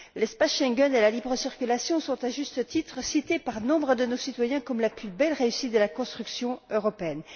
L'espace Schengen et la libre circulation sont, à juste titre, cités par nombre de nos citoyens comme la plus belle réussite de la construction européenne.